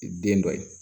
Den dɔ ye